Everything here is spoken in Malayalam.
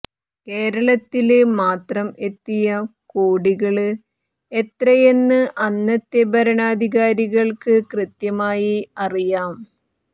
കേരളത്തില് മാത്രം എത്തിയ കോടികള് എത്രയെന്ന് അന്നത്തെ ഭരണാധികാരികള്ക്ക് കൃത്യമായി അറിയാം